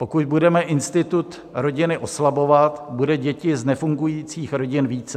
Pokud budeme institut rodiny oslabovat, bude dětí z nefungujících rodin více.